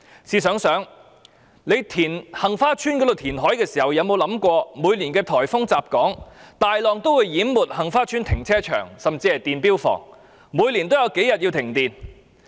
試想想，在杏花邨填海時，有否想到每年颱風襲港，大浪會淹沒該處的停車場甚至電錶房，以致每年有數天需要停電？